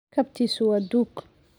Kabtiisu waa duug.